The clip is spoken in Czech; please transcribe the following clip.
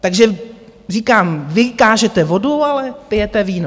Takže říkám, vy kážete vodu, ale pijete víno.